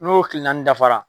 N'o kile naani dafara